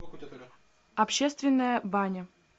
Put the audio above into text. общественная баня